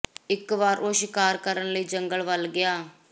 ਇਕ ਵਾਰ ਉਹ ਸ਼ਿਕਾਰ ਕਰਨ ਲਈ ਜੰਗਲ ਵੱਲ ਗਿਆ